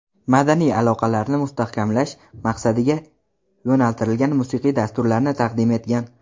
madaniy aloqalarni mustahkamlash maqsadiga yo‘naltirilgan musiqiy dasturlarni taqdim etgan.